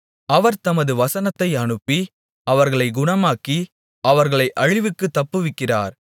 அவர் தமது வசனத்தை அனுப்பி அவர்களைக் குணமாக்கி அவர்களை அழிவுக்குத் தப்புவிக்கிறார்